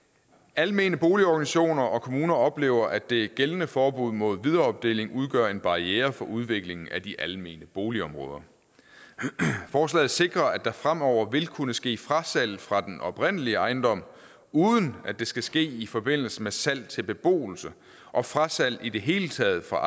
almene boligorganisationer og kommuner oplever at det gældende forbud mod videreopdeling udgør en barriere for udviklingen af de almene boligområder forslaget sikrer at der fremover vil kunne ske frasalg fra den oprindelige ejendom uden at det skal ske i forbindelse med salg til beboelse og frasalg i det hele taget fra